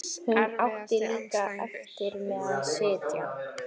Hún átti líka erfitt með að sitja.